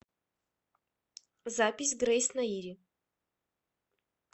запись грейс наири